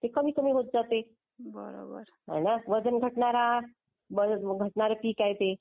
ते कमी कमी होत जाते.बरं. हाय ना.वजन घटणार. पीक आहे ते.